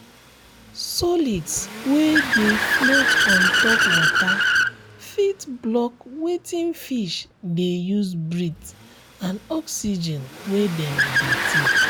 solids wey dey float ontop water fit block wetin fish de use breathe and oxygen wey dem dey take